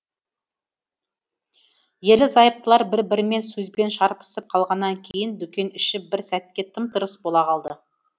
ерлі зайыптылар бір бірімен сөзбен шарпысып қалғанан кейін дүкен іші бір сәтке тым тырыс бола қалды